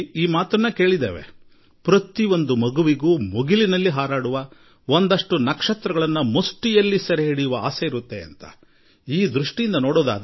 ಆಕಾಶವನ್ನೇ ಮುಟ್ಟಬೇಕೆಂಬ ಹಾಗೂ ಕೆಲವು ನಕ್ಷತ್ರಗಳನ್ನು ಕೈಯಲ್ಲಿ ಹಿಡಿಯಬೇಕೆಂಬ ಆಸೆ ಪ್ರತಿಯೊಂದು ಮಗುವಿನ ಮನಸ್ಸಿನಲ್ಲೂ ಮೂಡುತ್ತದೆ ಎಂಬ ಬಗ್ಗೆ ನಾವು ಬಾಲ್ಯದಲ್ಲಿ ಕೇಳಿದ್ದೇವೆ